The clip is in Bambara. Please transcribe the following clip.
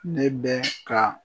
Ne bɛ ka